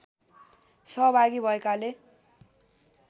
सहभागी भएकाले